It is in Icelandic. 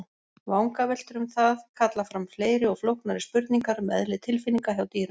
Vangaveltur um það kalla fram fleiri og flóknari spurningar um eðli tilfinninga hjá dýrum.